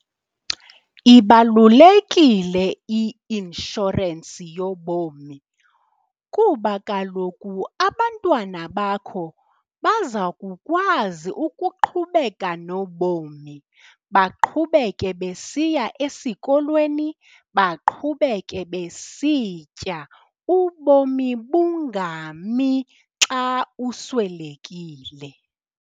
Ibalulekile i-inshorensi yobomi kuba kaloku abantwana bakho baza kukwazi ukuqhubeka nobomi, baqhubeke besiya esikolweni, baqhubeke besitya. Ubomi bungami xa uswelekile.